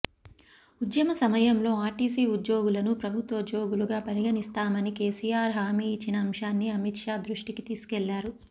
ఉద్యమ సమయంలో ఆర్టీసీ ఉద్యోగులను ప్రభుత్వోద్యోగులుగా పరిగణిస్తామని కేసీఆర్ హామీ ఇచ్చిన అంశాన్ని అమిత్ షా దృష్టికి తీసుకెళ్లారు